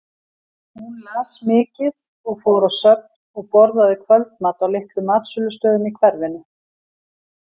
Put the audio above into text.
Hún las mikið og fór á söfn og borðaði kvöldmat á litlum matsölustöðum í hverfinu.